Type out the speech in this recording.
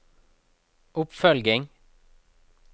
oppfølging